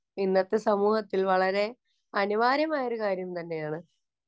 ഇന്നത്തെ സമൂഹത്തില്‍ വളരെ അനിവാര്യമായ ഒരു കാര്യം തന്നെയാണ്.